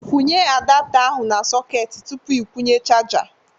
Kwụnye adapta ahụ na sọketị tupu ị kwụnye chaja